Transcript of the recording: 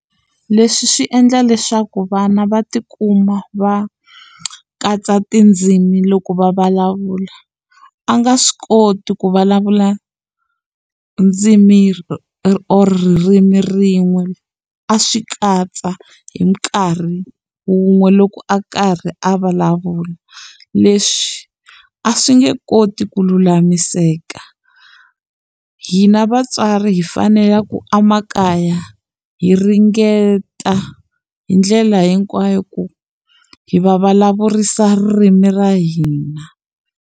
Leswi swi endla leswaku vana va tikuma va katsa tindzimi loko va vulavula a nga swi koti ku vulavula ndzimi or ririmi rin'we a swi katsa hi nkarhi wun'we loko a karhi a vulavula leswi a swi nge koti ku lulamiseka hina vatswari hi fanele ku emakaya hi ringeta hi ndlela hinkwayo ku hi va vulavurisa ririmi ra hina.